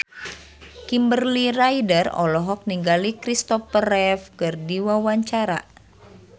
Kimberly Ryder olohok ningali Kristopher Reeve keur diwawancara